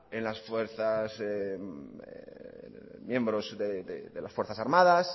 en los miembros de las fuerzas armadas